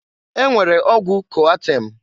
E nwere ọgwụ Koatem.